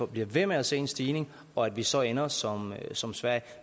bliver ved med at se en stigning og at vi så ender som som sverige